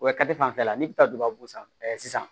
Wa fanfɛla n'i bɛ taa gabakuru san sisan